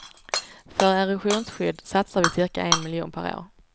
För erosionsskydd satsar vi cirka en miljon per år.